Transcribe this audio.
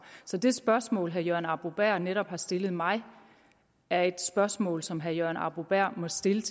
så det spørgsmål herre jørgen arbo bæhr netop har stillet mig er et spørgsmål som herre jørgen arbo bæhr må stille